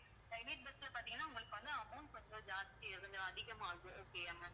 private bus ல பார்த்தீங்கன்னா, உங்களுக்கு வந்து amount கொஞ்சம் ஜாஸ்தி கொஞ்சம் அதிகமாகும். okay யா ma'am